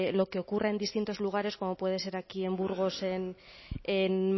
lo que ocurra en distintos lugares como puede ser aquí en burgos en